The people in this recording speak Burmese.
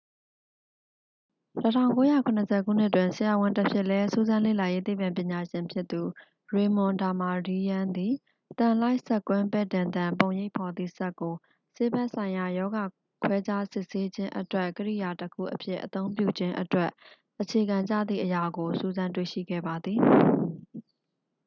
1970 ခုနှစ်တွင် ဆရာဝန်တဖြစ်လဲ စူးစမ်းလေ့လာရေးသိပ္ပံပညာရှင်ဖြစ်သူ ရေမွန် ဒါမာဒီးယန်း သည် သံလိုက်စက်ကွင်း ပဲ့တင်သံ ပုံရိပ်ဖော်သည့် စက်ကို ဆေးဘက်ဆိုင်ရာ ရောဂါခွဲခြားစစ်ဆေးခြင်းအတွက် ကိရိယာတစ်ခုအဖြစ် အသုံးပြုခြင်းအတွက် အခြေခံကျသည့်အရာကို စူးစမ်းတွေ့ရှိခဲ့ပါသည်